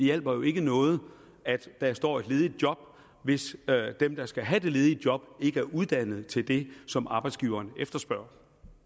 hjælper jo ikke noget at der står ledige job hvis dem der skal have de ledige job ikke er uddannet til det som arbejdsgiverne efterspørger